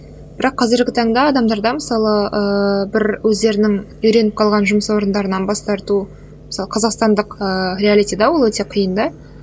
бірақ қазіргі таңда адамдарда мысалы ыыы бір өздерінің үйреніп қалған жұмыс орындарынан бас тарту мысалы қазақстандық ыыы реалитида ол өте қиын да